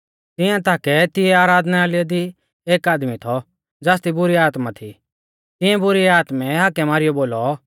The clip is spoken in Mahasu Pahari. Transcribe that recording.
तिंया ताकै तिंया आराधनालय दी एक आदमी थौ ज़ासदी बुरी आत्मा थी तिऐं बुरी आत्मै हाकै मारीयौ बोलौ